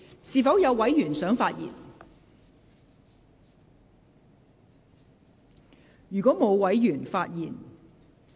是否有委員想發言？